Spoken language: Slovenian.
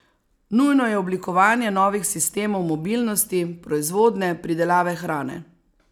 Nujno je oblikovanje novih sistemov mobilnosti, proizvodnje, pridelave hrane.